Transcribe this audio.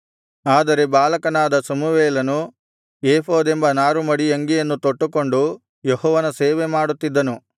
ಆದರೆ ಬಾಲಕನಾದ ಸಮುವೇಲನು ಏಫೋದೆಂಬ ನಾರು ಮಡಿಯಂಗಿಯನ್ನು ತೊಟ್ಟುಕೊಂಡು ಯೆಹೋವನ ಸೇವೆ ಮಾಡುತ್ತಿದ್ದನು